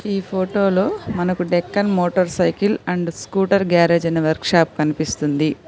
ఈ ఫోటోలో మనకు Deccan motor cycle and scooter garage అయిన వర్క్ షాప్ కనిపిస్తుంది.